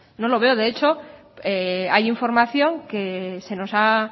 no lo veo de hecho hay información que se nos ha